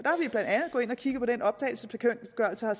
har kigget på den optagelsesbekendtgørelse og